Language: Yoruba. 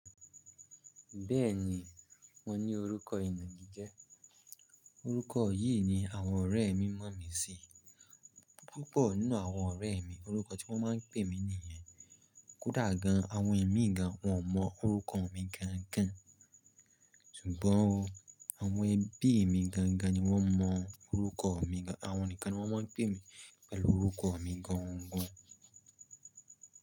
Bẹ́ẹ̀ni, mo ní orúkọ ìnagi jẹ́. Orúkọ yìí ni àwọn ọ̀rẹ́ mi mọ̀ mí sí. Púpọ̀ nínú àwọn ọ̀rẹ́ mi, orúkọ tí wọ́n máa ń pè mí nìyẹn. Kódà gan-an, àwọn ẹ̀mí gan, wọ́n mọ orúkọ mi gan-an gan. Ṣùgbọ́n o, àwọn ẹbí mi gangan ni wọ́n mọ orúkọ mi gan. Àwọn nìkan ni wọ́n máa ń pè mí pẹ̀lú orúkọ mi gan-an gan.